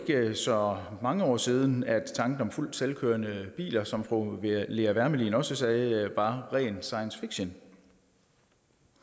så mange år siden at tanken om fuldt selvkørende biler som fru lea wermelin også sagde var ren science fiction